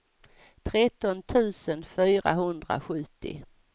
tretton tusen fyrahundrasjuttio